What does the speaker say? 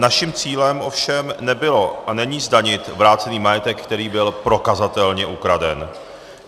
Naším cílem ovšem nebylo a není zdanit vrácený majetek, který byl prokazatelně ukraden.